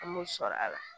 An m'o sɔrɔ a la